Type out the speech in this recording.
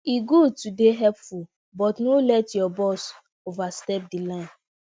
e good to dey helpful but no let your boss overstep di line